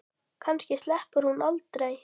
Kannski sleppur hún aldrei.